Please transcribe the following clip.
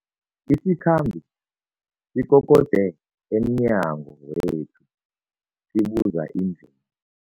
Isikhambi sikokode emnyango wethu sibuza indl